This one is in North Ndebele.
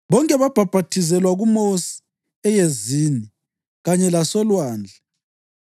Bonke babhaphathizelwa kuMosi eyezini kanye lasolwandle.